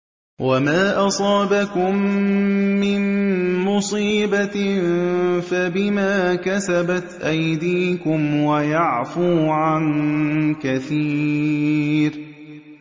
وَمَا أَصَابَكُم مِّن مُّصِيبَةٍ فَبِمَا كَسَبَتْ أَيْدِيكُمْ وَيَعْفُو عَن كَثِيرٍ